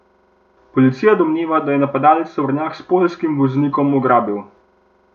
Policija domneva, da je napadalec tovornjak s poljskim voznikom ugrabil.